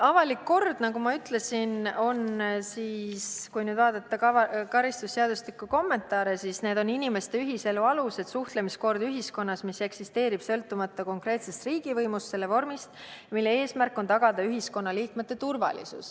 Avaliku korra puhul, nagu ma ütlesin – kui vaadata karistusseadustiku kommentaare –, on tegemist inimeste ühiselu alustega ja ühiskonnas kehtiva suhtlemiskorraga, mis eksisteerib sõltumata konkreetsest riigivõimust ja selle vormist ning mille eesmärk on tagada ühiskonnaliikmete turvalisus.